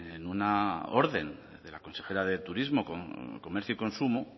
en una orden de la consejera de turismo comercio y consumo